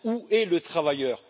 Où est le travailleur?